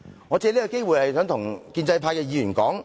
我想藉此機會跟建制派議員說......